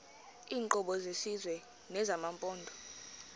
iinkqubo zesizwe nezamaphondo